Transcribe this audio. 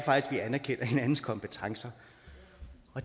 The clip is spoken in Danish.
vi anerkender hinandens kompetencer